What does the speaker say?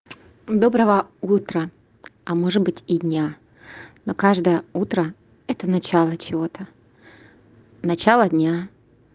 доброго утра а может быть и дня но каждое утро это начало чего-то начало дня